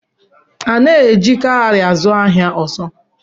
A naghịzi̻ eji kaụrị azu ahịa ọzọ.